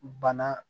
Bana